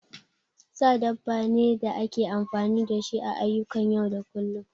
Sa dabba ne da ake amfani da shi a ayyukan yau da kullum